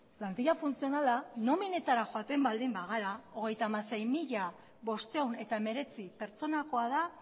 plantila funtzionala nominetara joaten baldin bagara hogeita hamasei mila bostehun eta hemeretzi pertsonakoa da